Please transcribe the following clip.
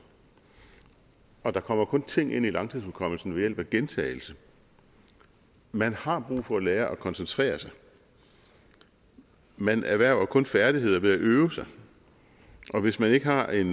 og der kommer kun ting ind i langtidshukommelsen ved hjælp af gentagelse man har brug for at lære at koncentrere sig man erhverver kun færdigheder ved at øve sig og hvis man ikke har en